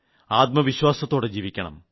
ആത്മവിശ്വാസത്തോടെ ജീവിക്കണം